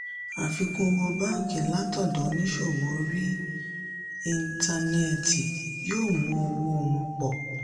àfikún owó báńkì látọ̀dọ̀ oníṣòwò orí íńtánẹ́ẹ̀tì yóò mú owó wọn pọ̀.